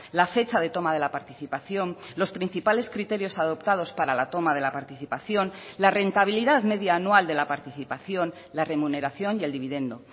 la fecha de toma de la participación los principales criterios adoptados para la toma de la participación la rentabilidad media anual de la participación la remuneración y el dividendo